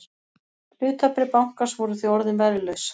Hlutabréf bankans voru því orðin verðlaus